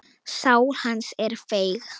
Sál hans er feig.